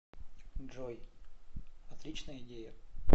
джой отличная идея